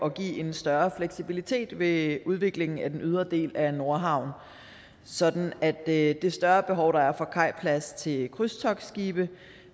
at give en større fleksibilitet ved udviklingen af den ydre del af nordhavn sådan at det større behov der er for kajplads til krydstogtskibe